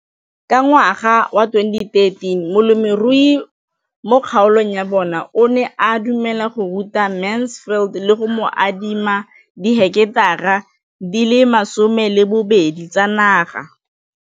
Ka ngwaga wa 2013, molemirui mo kgaolong ya bona o ne a dumela go ruta Mansfield le go mo adima di heketara di le 12 tsa naga.